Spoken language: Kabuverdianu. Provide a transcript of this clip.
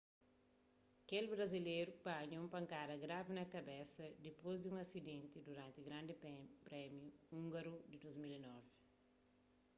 kel brazileru panha un pankada gravi na kabesa dipôs di un asidenti duranti grandi prémiu úngaru di 2009